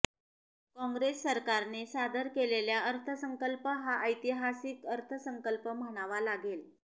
काँग्रेस सरकारने सादर केलेला अर्थसंकल्प हा ऐतिहासीक अर्थसंकल्प म्हणावा लागेल